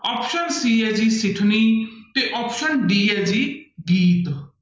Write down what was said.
Option c ਹੈ ਜੀ ਸਿਠਣੀ ਤੇ option d ਹੈ ਜੀ ਗੀਤ।